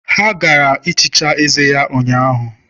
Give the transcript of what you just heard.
Ha gaara ehicha eze ya ụnyahụ.